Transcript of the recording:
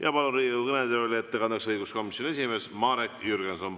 Ma palun ettekandeks Riigikogu kõnetooli õiguskomisjoni esimehe Marek Jürgensoni.